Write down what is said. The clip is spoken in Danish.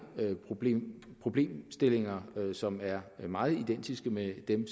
problemstillinger som er meget identiske med dem